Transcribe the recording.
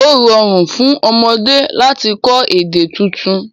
O rọ̀run fún ọmọdé lati kọ̀ èdè títún